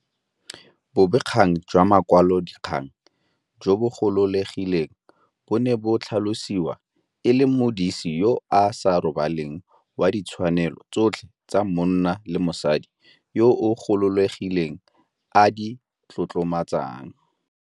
Bobegakgang jwa makwalodikgang jo bogololegileng bo ne bo tlhalosiwa e le modisi yo a sa robaleng wa ditshwanelo tsotlhe tse monna le mosadi yo a gololegileng a di tlotlomatsang.